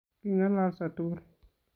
Kingololsoo tugul